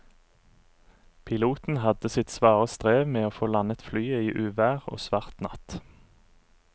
Piloten hadde sitt svare strev med å få landet flyet i uvær og svart natt.